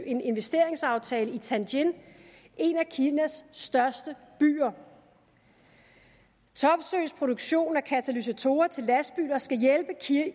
en investeringsaftale i tianjin en af kinas største byer topsøes produktion af katalysatorer til lastbiler skal hjælpe